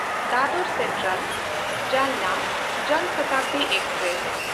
ᱫᱟᱫᱚᱨ ᱥᱮᱱᱴᱨᱟᱞ–ᱡᱟᱞᱱᱟ ᱡᱚᱱ ᱥᱚᱛᱟᱵᱫᱤ ᱮᱠᱥᱯᱨᱮᱥ